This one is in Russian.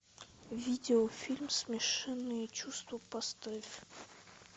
видеофильм смешанные чувства поставь